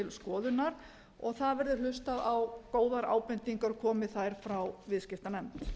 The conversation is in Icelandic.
skoðunar og það verði hlustað á góðar ábendingar komi þær frá viðskiptanefnd